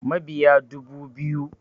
Mabiya dubu biyu